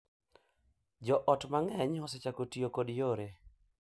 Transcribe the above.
Jo ot mang’eny osechako tiyo kod yore .